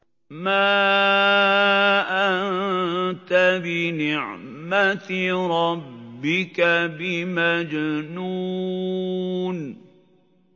مَا أَنتَ بِنِعْمَةِ رَبِّكَ بِمَجْنُونٍ